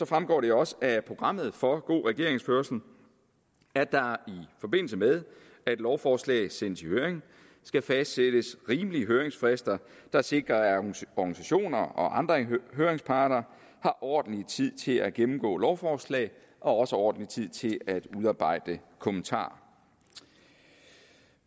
fremgår det også af programmet for god regeringsførelse at der i forbindelse med at lovforslaget sendes i høring skal fastsættes rimelige høringsfrister der sikrer at organisationer og andre høringsparter har ordentlig tid til at gennemgå lovforslaget og også ordentlig tid til at udarbejde kommentarer